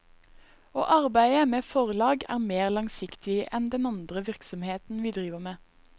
Å arbeide med forlag er mer langsiktig enn den andre virksomheten vi driver med.